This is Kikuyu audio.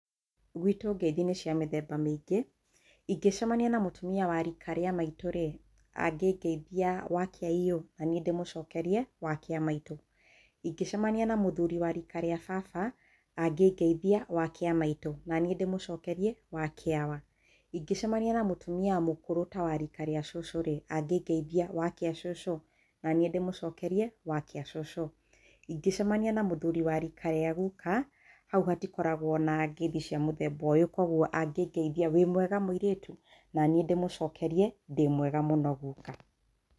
Gwĩtũ ngeithi nĩ cia mĩthemba mĩingĩ ingĩcemania na mũtumia wa rika ria maitũ rĩ angĩngeithia wakĩaiyũ nanie ndĩmũcokerie wakiamaitũ, ingĩcemania na mũthuri wa rika rĩa baba angĩngeithia wakĩamaitũ nanĩe ndĩmũcokerie wakĩaawa, ingĩcemania na mũtũmia mũkũrũ ta wa rika rĩa cũcũ rĩ angĩngeithia wakĩa cucu nanie ndĩmũcokerie wakĩa cũcũ, ingĩcemania na mũthuri wa rika rĩa guka hau hatikoragwo na ngeithi cia mũthemba ũyũ koguo angĩngeithia wĩmwega mũirĩtu naniĩ ndĩmũcokerie ndĩmwega mũno guka.